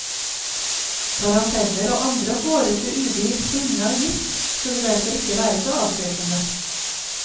Taranteller og andre hårete udyr stinne av gift skulle derfor ikke være så avskrekkende.